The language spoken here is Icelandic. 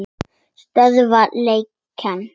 Stöðva lekann.